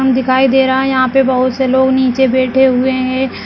ग्राउंड दिखाई दे रहा है यहाँ पे बहोत से लोग निचे बैठे हुए हैं।